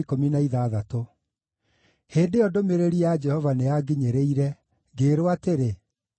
Hĩndĩ ĩyo ndũmĩrĩri ya Jehova nĩyanginyĩrire, ngĩĩrwo atĩrĩ: